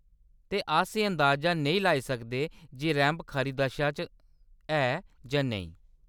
ते अस एह्‌‌ अनदाज़ा नेई लाई सकदे जे रैंप खरी दशा च ऐ जां नेईं।